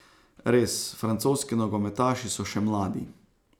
Res, francoski nogometaši so še mladi.